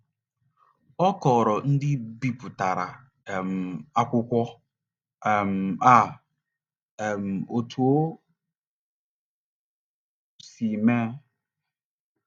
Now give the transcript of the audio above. Ọ kọọrọ ndị bipụtara um akwụkwọ um a um otú o si mee.